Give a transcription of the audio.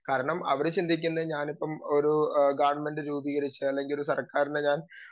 speaker 2 കാരണം അവരെ ചിന്തിക്കുന്നേ ഞാനിപ്പോ ഒരു ഗവൺമെൻറ് രൂപീകരിച്ചാൽ അല്ലെങ്കിസർക്കാരിനെ ഞാൻ